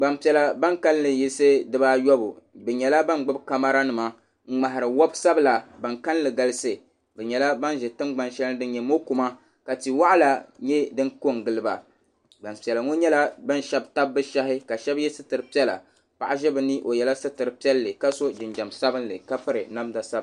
Gbanpiɛla ban kalinli yiɣsi di baa ayobu bi nyɛla ban gbubi kamara nima n ŋmahira wabi sabila ban kalinli galisi bi nyɛla ban ʒi tingbani sheli ni din nyɛ mɔkuma ka tia waɣila nyɛ din ko n giliba gbanpiɛla ŋɔ nyɛla ban shabi tabi bi shahi ka shɛba yɛ sitira piɛla paɣa ʒɛ bi ni o yɛla sitira piɛlli ka so jinjam sabinli ka piri namda sabinli.